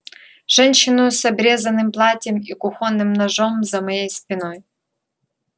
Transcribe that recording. женщину с обрезанным платьем и кухонным ножом за моей спиной